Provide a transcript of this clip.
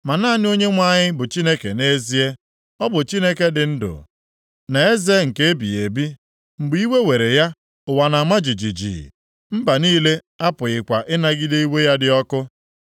Ma naanị Onyenwe anyị bụ Chineke nʼezie. Ọ bụ Chineke dị ndụ, na Eze nke ebighị ebi. Mgbe iwe were ya, ụwa na-ama jijiji. Mba niile apụghịkwa ịnagide iwe ya dị ọkụ.